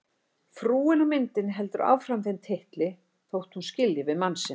Frúin á myndinni heldur áfram þeim titli þótt hún skilji við mann sinn.